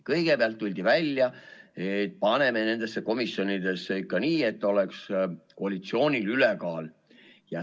Kõigepealt tuldi välja mõttega, et paneme nendesse komisjonidesse ikka nii, et oleks koalitsioonil ülekaal.